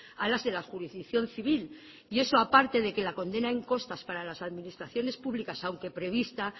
a las de la jurisdicción civil y eso aparte de que la condena en costas para las administraciones públicas aunque prevista